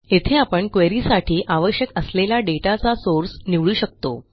येथे आपण क्वेरी साठी आवश्यक असलेला दाता चा सोर्स निवडू शकतो